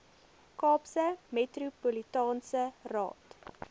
kaapse metropolitaanse raad